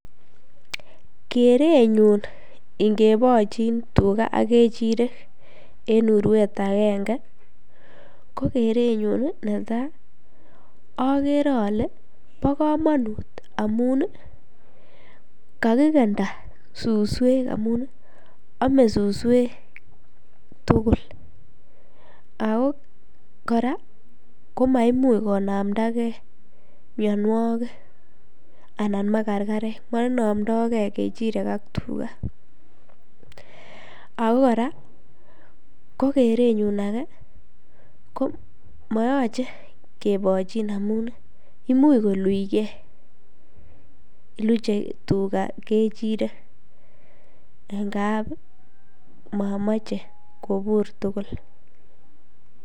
Krenyun ingebochin tuka ak kechirek en urwet akenge ko kerenyun netaa okere ole bokomonut amun kakikenda suswek amun omee suswek tukul ak ko kora komaimuch konamndake mionwokik anan makarkarek, monomdoke kechirek ak tuka ak ko kora kerenyun akee ko moyoche kebochin amun imuch koluchke, luche kechirek ng'ab momoche kobur tukul.